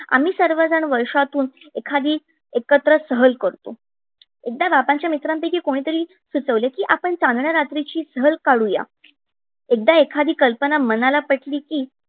आम्ही सर्वजन वर्षातून एखादी सहल एकत्र करतो. एकदा बाबाच्या मित्रांपैकी कोणीतरी सुचवले कि आपण चांदण्या रात्रीची सहल काढूया. एकदा एखादी कल्पना मनाली पटली कि